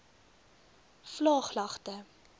vlaaglagte